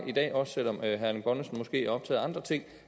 i dag selv om herre erling bonnesen måske er optaget af andre ting